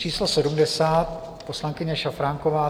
Číslo 70 - poslankyně Šafránková.